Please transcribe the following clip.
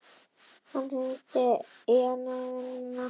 Hann hringdi í hana í vinnuna nokkrum dögum síðar og bauð henni í kvöldmat.